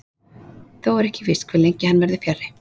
Þó er ekki víst hve lengi hann verður fjarri.